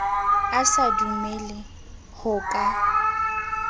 a sa dumele ho ka